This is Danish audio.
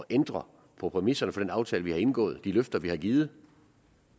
ændre på præmisserne for den aftale vi har indgået og de løfter vi har givet